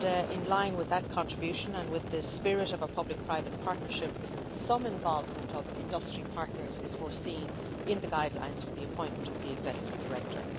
In line with that contribution, and in the spirit of a public private partnership, some involvement of industry partners is foreseen in the guidelines for the appointment of the executive director.